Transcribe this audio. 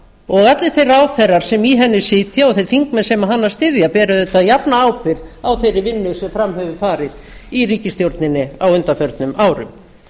og allir þeir ráðherrar sem í henni sækja og þeir þingmenn sem hana styðja bera auðvitað jafna ábyrgð á þeirri vinnu sem fram hefur farið í ríkisstjórninni á undanförnum árum